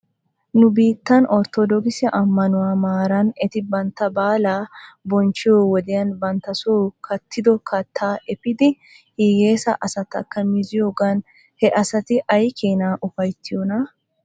Nu biittan orttodookise ammanuwaa maaran eti bantta baalaa binchchiyoo wodiyan banttason kattido kattaa efiidi hiyeesa asatakka miziyoogan he asati aykeena ufaytiyonna?